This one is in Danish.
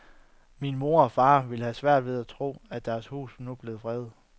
Min mor og far ville have haft svært ved at tro, at deres hus nu er blevet fredet.